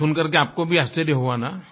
ये सुनकर आपको भी आश्चर्य हुआ ना